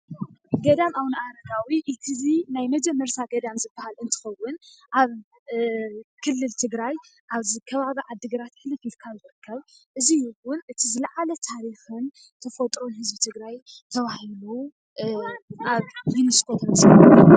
ገዳም ኣብነኣረጋዊ እቲናይ መጀመርታ ገዳም እትከውን ኣብ ክልል ትግራይ ኣብ ከባቢ ዓዲ-ግራት ሕልፍ ኢልካ ዝርከብ እዙይ እውን እቲ ታሪክ ዝለዓለ ተፈጥሮ ተባሂሉ ኣብ ዩኒስኮ